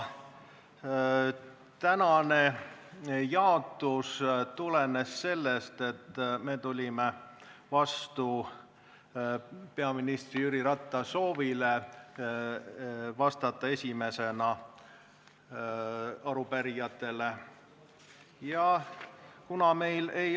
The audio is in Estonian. Tänane jaotus tulenes sellest, et me tulime vastu peaminister Jüri Ratta soovile vastata arupärijatele esimesena.